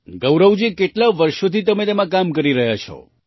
ગૌરવજી કેટલાં વર્ષોથી તમે તેમાં કામ કરી રહ્યા છો